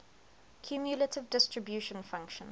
cumulative distribution function